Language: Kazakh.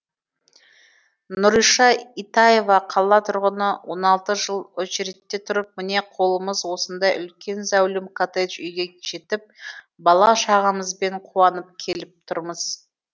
нұрриша итаева қала тұрғыны он алты жыл очередьте тұрып міне қолымыз осындай үлкен зәулім коттедж үйге жетіп бала шағамызбен қуанып келіп тұрмыз